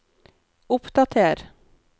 oppdater